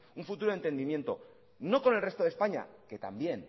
un futuro de entendimiento no con el resto de españa que también